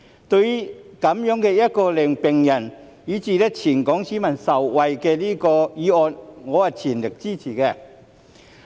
對於這項令病人以至全港市民受惠的議案，我是全力支持的。